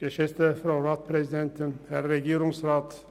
Wir kommen zu den Einzelsprechern.